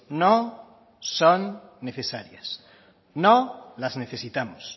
no son necesarias no las necesitamos